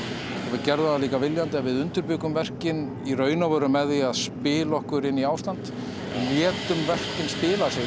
við gerðum það líka viljandi að við undirbjuggum verkin í raun og veru með því spila okkur inn í ástand létum verkin spila sig